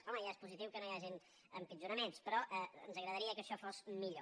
home ja és positiu que no hi hagin empitjoraments però ens agradaria que això fos millor